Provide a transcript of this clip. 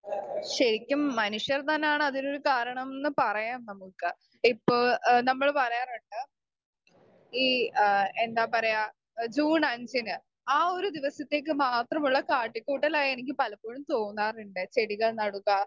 speaker 2 ശരിക്കും മനുഷ്യർ തന്നാണ് അതിനൊരു കാരണം ന്ന് പറയാം നമ്മുക്ക് ഇപ്പൊ എഹ് നമ്മൾ പറയാറ്ണ്ട് ഈ ഏഹ് എന്താ പറയാ എഹ് ജൂൺ അഞ്ചിന് ആ ഒരു ദിവസത്തേക്ക് മാത്രമുള്ള കാട്ടികൂട്ടലാ എനിക്ക് പലപ്പോഴും തോന്നാറ്ണ്ട് ചെടികൾ നടുക